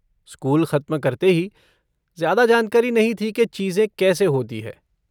School ख़त्म करते हीं, ज़्यादा जानकारी नहीं थी कि चीज़ें कैसे होती हैं।